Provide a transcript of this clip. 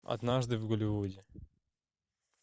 однажды в голливуде